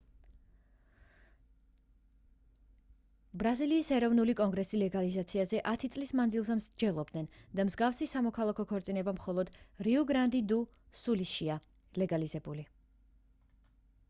ბრაზილიის ეროვნული კონგრესი ლეგალიზაციაზე 10 წლის მანძილზე მსჯელობდნენ და მსგავსი სამოქალაქო ქორწინება მხოლოდ რიუ-გრანდი-დუ-სულიშია ლეგალიზებული